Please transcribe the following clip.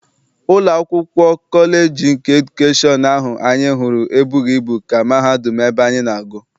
Ụlọ akwụkwọ kọleji nke edukeshọn ahụ anyị hụrụ e bụghị ibu ka mahadum ebe anyị na-agụ.